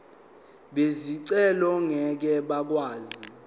bezicelo ngeke bakwazi